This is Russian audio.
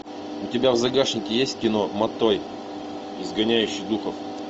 у тебя в загашнике есть кино матой изгоняющий духов